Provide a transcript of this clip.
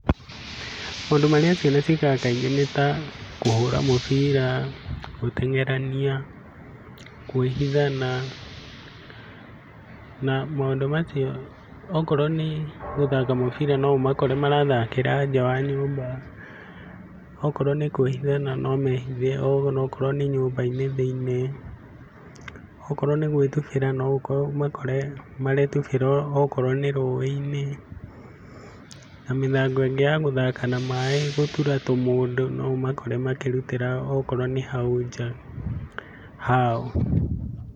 Maũndũ marĩa ciana ciĩkaga kaingĩ nĩta kũhũra mũbira, gũteng'erania, kũĩhithana na maũndũ macio okorwo nĩ gũthaka mũbira no ũmakore marathakĩra njaa wa nyũmba. Okorwo nĩkwĩhithana no mehithe onokorwo nĩ nyũmba-inĩ thĩiniĩ. Okorwo nĩ gũĩtubĩra no omakore merutubĩra okorwo nĩ rũĩ-inĩ. Na mĩthako ĩngĩ ya gũthaka na maĩ gũtura tũmũndũ noũmakore makĩrutĩra okorwo nĩ hau nja hao.